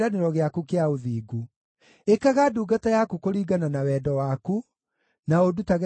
Ĩkaga ndungata yaku kũringana na wendo waku, na ũndutage kĩrĩra kĩa watho waku.